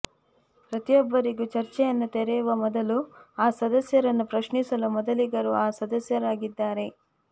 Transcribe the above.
ಪ್ರತಿಯೊಬ್ಬರಿಗೂ ಚರ್ಚೆಯನ್ನು ತೆರೆಯುವ ಮೊದಲು ಆ ಸದಸ್ಯರನ್ನು ಪ್ರಶ್ನಿಸಲು ಮೊದಲಿಗರು ಆ ಸದಸ್ಯರಾಗಿದ್ದಾರೆ